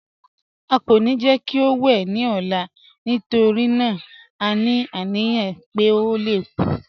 À kọ́ ní jẹ́ kí ó wè ní ọ̀là nítorí à ní aniyàn pé ó lè kú